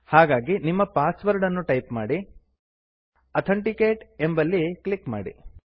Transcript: ಹಾಗಾಗಿ ನಿಮ್ಮ ಪಾಸ್ವರ್ಡ್ ಅನ್ನು ಟೈಪ್ ಮಾಡಿ ಆಥೆಂಟಿಕೇಟ್ ಎಂಬಲ್ಲಿ ಕ್ಲಿಕ್ ಮಾಡಿ